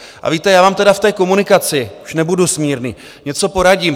A víte, já vám tedy v té komunikaci - už nebudu smírný - něco poradím.